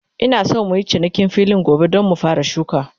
Ina San muyi cinikin filin gobe, Dan mu fara shuka